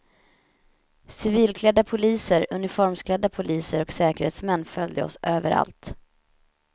Civilklädda poliser, uniformsklädda poliser och säkerhetsmän följde oss överallt.